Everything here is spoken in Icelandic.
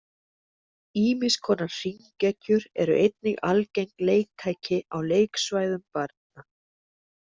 Ýmiss konar hringekjur eru einnig algeng leiktæki á leiksvæðum barna.